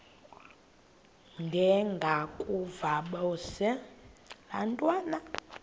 ndengakuvaubuse laa ntwana